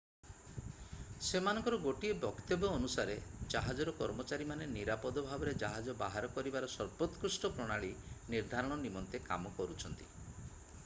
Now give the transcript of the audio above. ସେମାନଙ୍କର ଗୋଟିଏ ବକ୍ତବ୍ୟ ଅନୁସାରେ ଜାହାଜର କର୍ମଚାରୀମାନେ ନିରାପଦ ଭାବରେ ଜାହାଜ ବାହାର କରିବାର ସର୍ବୋତ୍କୃଷ୍ଟ ପ୍ରଣାଳୀ ନିର୍ଦ୍ଧାରଣ ନିମନ୍ତେ କାମ କରୁଛନ୍ତି